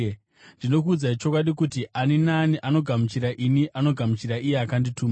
Ndinokuudzai chokwadi kuti, ani naani anogamuchira ini anogamuchira iye akandituma.”